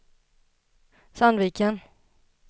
Sandviken